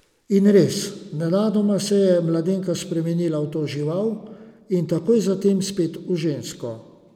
In res, nenadoma se je mladenka spremenila v to žival, in takoj zatem spet v žensko.